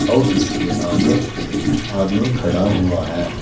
और इसके आगे एक आदमी खड़ा हुआ है।